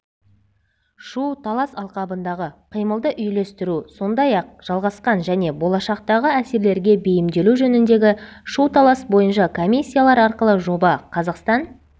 шу-талас алқабындағы қимылды үйлестіру сондай-ақ жалғасқан және болашақтағы әсерлерге бейімделу жөніндегі шу-талас бойынша комиссиялар арқылы жоба қазақстан